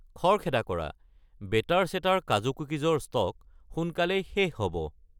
খৰখেদা কৰা, বেটাৰ চেটাৰ কাজু কুকিজ ৰ ষ্টক সোনকালেই শেষ হ'ব।